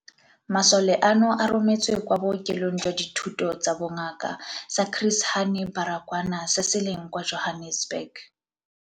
Masole ano a rometswe kwa Bookelong jwa Dithuto tsa Bongaka sa Chris Hani Baragwanath se se leng kwa Johannesburg.